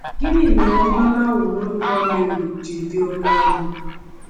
Gịnị mere mmanụ anwụrụ ụtọ Mary ji dị oke ọnụ?